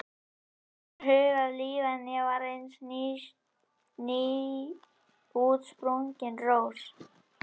Honum var vart hugað líf en ég var eins og nýútsprungin rós.